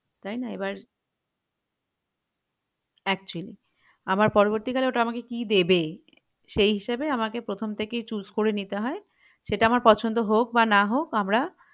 তাইনা এবার actually আবার পরবর্তীকলে ওটা আমাকে কি দেবে সেই হিসেবে আমাকে প্রথম থেকেই choose করে নিতে হয় সেটা আমার পছন্দ হোক বা না হোক আমরা